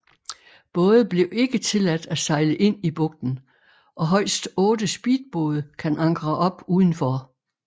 Både blev ikke tilladt at sejle ind i bugten og højst otte speedbåde kan ankre op udenfor